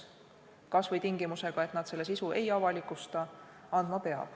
Tingimusel, et nad selle sisu ei avalikusta.